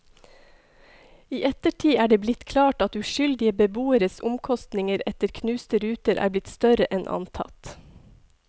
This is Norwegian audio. I ettertid er det blitt klart at uskyldige beboeres omkostninger etter knuste ruter er blitt større enn antatt.